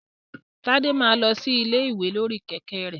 Tade máa lọ sí ilé ìwé lórí kẹ̀kẹ́ rẹ̀.